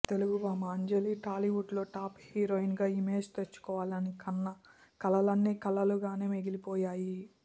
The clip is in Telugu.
తెలుగు భామ అంజలి టాలీవుడ్ లో టాప్ హీరోయిన్ గా ఇమేజ్ తెచ్చుకోవాలని కన్న కలలన్ని కల్లలుగానే మిగిలిపోయాయి